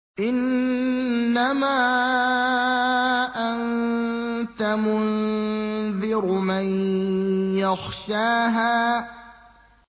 إِنَّمَا أَنتَ مُنذِرُ مَن يَخْشَاهَا